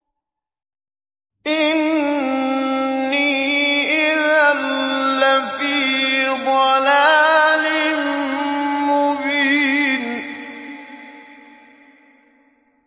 إِنِّي إِذًا لَّفِي ضَلَالٍ مُّبِينٍ